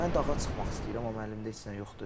Mən dağa çıxmaq istəyirəm, amma əlimdə heç nə yoxdur.